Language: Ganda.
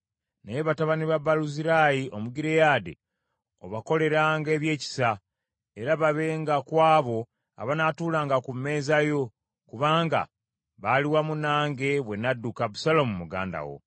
“Naye batabani ba Baluzirayi Omugireyaadi obakoleranga ebyekisa, era babenga ku abo abanaatuulanga ku mmeeza yo, kubanga baali wamu nange bwe nadduka Abusaalomu muganda wo.